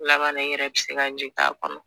Laban na i yɛrɛ bɛ se ka jigin a kɔnɔ